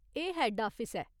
एह् head office ऐ।